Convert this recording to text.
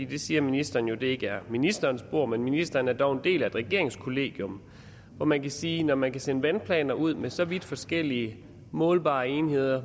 det siger ministeren jo ikke er ministerens bord men ministeren er dog en del af et regeringskollegium og man kan sige at når man kan sende vandplanerne ud med så vidt forskellige målbare enheder